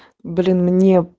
блин мне